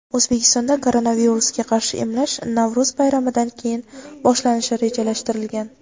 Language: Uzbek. O‘zbekistonda koronavirusga qarshi emlash Navro‘z bayramidan keyin boshlanishi rejalashtirilgan.